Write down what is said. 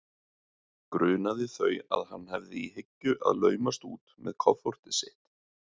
Grunaði þau að hann hefði í hyggju að laumast út með kofortið sitt?